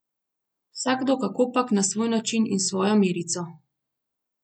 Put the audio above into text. Vsakdo kakopak na svoj način in s svojo merico.